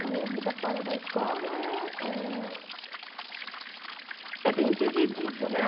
A minha vida fora da escola é é... É bem dividida, né?